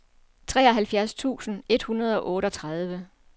treoghalvfjerds tusind et hundrede og otteogtredive